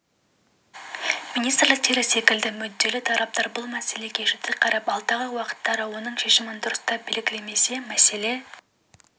министрліктері секілді мүдделі тараптар бұл мәселеге жіті қарап алдағы уақыттары оның шешімін дұрыстап белгілемесе мәселе